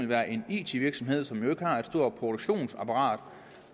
være en it virksomhed som ikke har et stort produktionsapparat